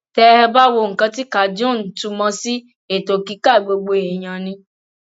tẹ ẹ bá wo nǹkan tí cajun túmọ sí ètò kíkà gbogbo èèyàn ni